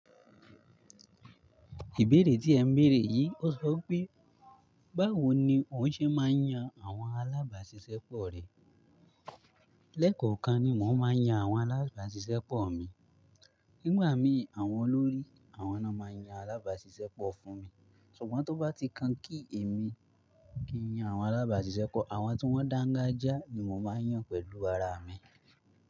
Ìbéèrè tí ẹ ń bèèrè yìí ó sọ pé, báwo ni òun ṣe máa ń yan àwọn alábàáṣiṣẹ́ pọ̀ rẹ? Lẹ́ẹ̀kọ̀kan ni mò ń máa yan àwọn alábàáṣiṣẹ́ pọ̀ mi. Nígbà mìí, àwọn olórí àwọn náà máa yan alábàáṣiṣẹ́ pọ̀ fún mi. Ṣùgbọ́n tó bá ti kan kí èmi kí yan àwọn alábàáṣiṣẹ́ pọ̀, àwọn tí wọ́n dáńgájíá ni mò máa yàn pẹ̀lú ara mi.